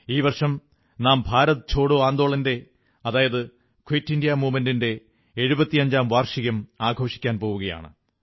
ഈ വർഷം നാം ഭാരത് ഛോഡോ ആന്ദോളന്റെ ക്വിറ്റ് ഇന്ത്യാ മൂവ്മെന്റിന്റെ എഴുപത്തിയഞ്ചാം വാർഷികം ആഘോഷിക്കാൻ പോകുകയാണ്